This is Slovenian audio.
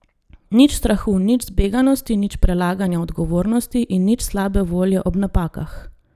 Nič strahu, nič zbeganosti, nič prelaganja odgovornosti in nič slabe volje ob napakah.